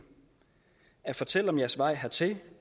fortælle om jeres vej hertil